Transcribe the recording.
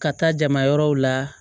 Ka taa jamayɔrɔw la